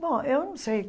Bom, eu não sei.